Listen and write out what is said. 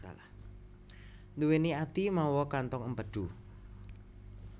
Nduwèni ati mawa kantong empedu